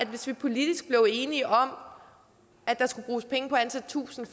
hvis vi politisk blev enige om at der skulle bruges penge på at ansætte tusind